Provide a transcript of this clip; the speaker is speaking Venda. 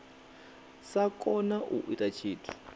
sa kona u ita tshithu